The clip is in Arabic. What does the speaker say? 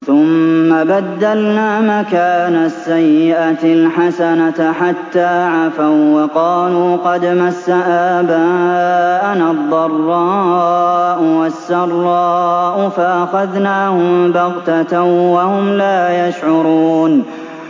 ثُمَّ بَدَّلْنَا مَكَانَ السَّيِّئَةِ الْحَسَنَةَ حَتَّىٰ عَفَوا وَّقَالُوا قَدْ مَسَّ آبَاءَنَا الضَّرَّاءُ وَالسَّرَّاءُ فَأَخَذْنَاهُم بَغْتَةً وَهُمْ لَا يَشْعُرُونَ